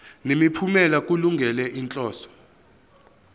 nemiphumela kulungele inhloso